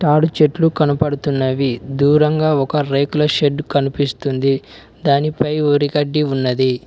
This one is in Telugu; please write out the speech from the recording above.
ఆడి చెట్లు కనపడుతున్నవి దూరంగా ఒక రేకుల షెడ్ కనిపిస్తుంది దానిపై వరిగడ్డి ఉన్నది.